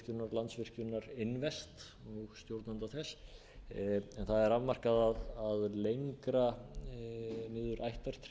landsvirkjunar invest og stjórnanda þess en það er afmarkað að lengra niður ættartréð ef